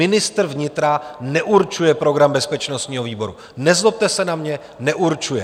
Ministr vnitra neurčuje program bezpečnostního výboru - nezlobte se na mě, neurčuje.